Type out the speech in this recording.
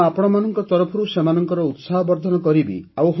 ମୁଁ ଆପଣମାନଙ୍କ ତରଫରୁ ସେମାନଙ୍କର ଉତ୍ସାହବର୍ଦ୍ଧନ କରିବି